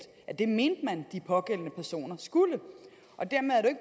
at det mente man de pågældende personer skulle og dermed